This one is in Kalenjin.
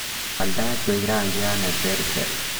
wal tait koik rangiat neterter